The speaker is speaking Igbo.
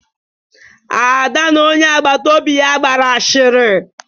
Ada na onye agbata obi ya gbara asịrị.